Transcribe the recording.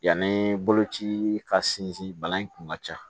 Yanni boloci ka sinsin bana in kun ka ca